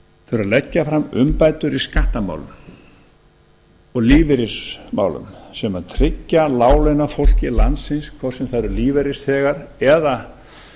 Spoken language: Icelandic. að leggja fram umbætur í skattamálum og lífeyrismálum sem tryggja láglaunafólki landsins hvort sem það eru lífeyrisþegar eða